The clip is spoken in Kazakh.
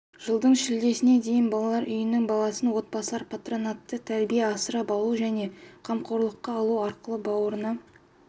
жылдың шілдесіне дейін балалар үйінің баласын отбасылар патронаттық тәрбие асырап алу және қамқорлыққа алу арқылы бауырына